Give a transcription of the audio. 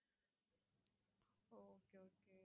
okay okay